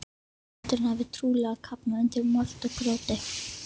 Eldurinn hafði trúlega kafnað undir mold og grjóti.